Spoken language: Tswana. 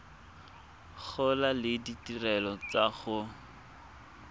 gola le ditirelo tsa go